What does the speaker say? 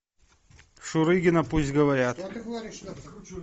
шурыгина пусть говорят